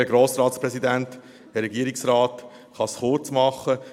Ich kann es kurz machen.